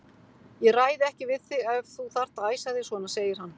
Ég ræði ekki við þig ef þú þarft að æsa þig svona, segir hann.